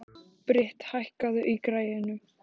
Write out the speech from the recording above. Britt, hækkaðu í græjunum.